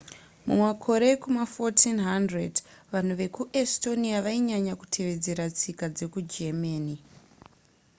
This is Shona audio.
mumakore ekuma1400 vanhu vekuestonia vainyanya kutevedzera tsika dzekugermany